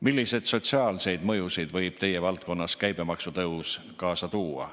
Milliseid sotsiaalseid mõjusid võib teie valdkonnas käibemaksu tõus kaasa tuua?